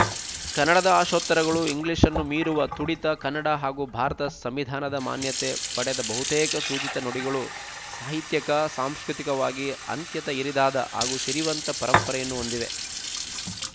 ಕನ್ನಡದ ಆಶೋತ್ತರಗಳು ಇಂಗ್ಲೀಷ್ ನ್ನು ಮೀರುವ ತುಡಿತ ಕನ್ನಡ ಹಾಗೂ ಭಾರತ ಸಂವಿಧಾನದ ಮಾನ್ಯತೆ ಪಡೆದ ಬಹುತೇಕ ಸೂಚಿತ ನುಡಿಗಳು ಸಾಹಿತ್ಯಕ ಸಾಂಸ್ಕೃತಿಕವಾಗಿ ಅತ್ಯಂತ ಹಿರಿದಾದ ಹಾಗೂ ಸಿರಿವಂತ ಪರಂಪರೆಯನ್ನು ಹೊಂದಿವೆ